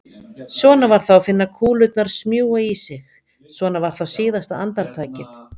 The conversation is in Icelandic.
Svona var þá að finna kúlurnar smjúga í sig, svona var þá síðasta andartakið!